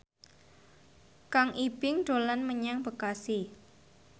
Kang Ibing dolan menyang Bekasi